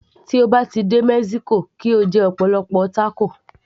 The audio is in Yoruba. Tí o bá ti dé mexico kí o jẹ ọ̀pọ̀lọpọ̀ tákò